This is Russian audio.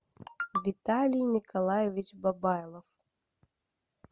виталий николаевич бабайлов